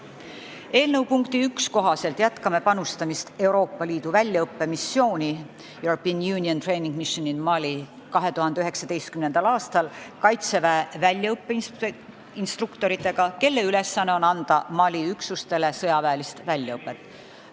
Eelnõu punkti 1 kohaselt jätkame panustamist Euroopa Liidu väljaõppemissiooni European Union Training Mission in Mali 2019. aastal Kaitseväe väljaõppeinstruktoritega, kelle ülesanne on anda Mali üksustele sõjaväelist väljaõpet.